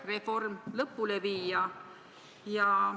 ... et reform lõpule viia.